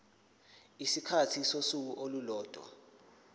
isikhathi sosuku olulodwa